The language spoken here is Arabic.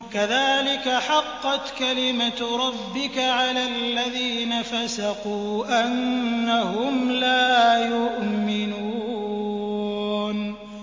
كَذَٰلِكَ حَقَّتْ كَلِمَتُ رَبِّكَ عَلَى الَّذِينَ فَسَقُوا أَنَّهُمْ لَا يُؤْمِنُونَ